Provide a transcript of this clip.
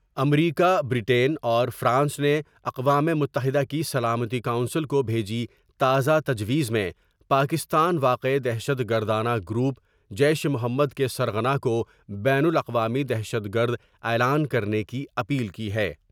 امریکہ ، Britain اور France نے اقوام متحدہ کی سلامتی کونسل کو بیجی تازہ تجویز میں پاکستان واقع دہشت گرداند گروپ جیش محمد کے سرغنہ کو بین الاقوامی دہشت گرداعلان کرنے کی اپیل کی ہے ۔